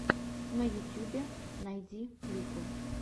на ютюбе найти клипы